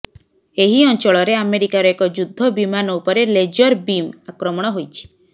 ଏହି ଅଞ୍ଚଳରେ ଆମେରିକାର ଏକ ଯୁଦ୍ଧ ବିମାନ ଉପରେ ଲେଜର ବୀମ୍ ଆକ୍ରମଣ ହୋଇଛି